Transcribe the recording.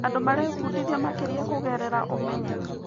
Andũ marebundithia makĩria kũgerera ũmenyeru.